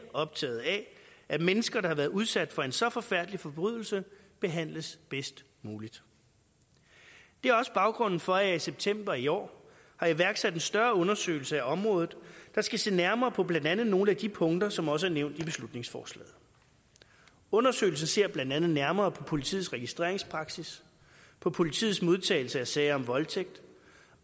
optaget af at mennesker der har været udsat for en så forfærdelig forbrydelse behandles bedst muligt det er også baggrunden for at jeg i september i år har iværksat en større undersøgelse af området der skal se nærmere på blandt andet nogle af de punkter som også er nævnt i beslutningsforslaget undersøgelsen ser blandt andet nærmere på politiets registreringspraksis på politiets modtagelse af sager om voldtægt